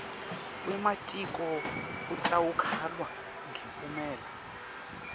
wematiko utawukalwa ngemiphumela